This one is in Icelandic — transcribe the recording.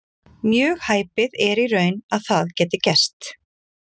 Mjög hæpið er í raun að það geti gerst.